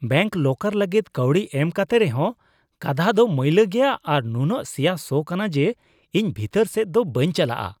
Bank locker ᱞᱟᱹᱜᱤᱫ ᱠᱟᱹᱣᱰᱤ ᱮᱢ ᱠᱟᱛᱮ ᱨᱮᱦᱚᱸ, ᱠᱟᱸᱫᱦᱟ ᱫᱚ ᱢᱟᱹᱭᱞᱟᱹ ᱜᱮᱭᱟ ᱟᱨ ᱱᱩᱱᱟᱹᱜ ᱥᱮᱭᱟ ᱥᱚ ᱠᱟᱱᱟ ᱡᱮ ᱤᱧ ᱵᱷᱤᱛᱟᱹᱨ ᱥᱮᱫ ᱫᱚ ᱵᱟᱹᱧ ᱪᱟᱞᱟᱜᱼᱟ ᱾